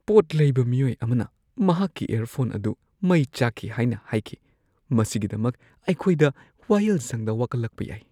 ꯄꯣꯠ ꯂꯩꯕ ꯃꯤꯑꯣꯏ ꯑꯃꯅ ꯃꯍꯥꯛꯀꯤ ꯏꯌꯔꯐꯣꯟ ꯑꯗꯨ ꯃꯩ ꯆꯥꯛꯈꯤ ꯍꯥꯏꯅ ꯍꯥꯏꯈꯤ꯫ ꯃꯁꯤꯒꯤꯗꯃꯛ ꯑꯩꯈꯣꯏꯗ ꯋꯥꯌꯦꯜꯁꯪꯗ ꯋꯥꯀꯠꯂꯛꯄ ꯌꯥꯏ꯫